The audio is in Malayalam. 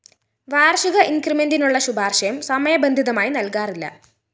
വാര്‍ഷിക ഇന്‍ക്രിമെന്റിനുള്ള ശുപാര്‍ശയും സമയബന്ധിതമായി നല്‍കാറില്ല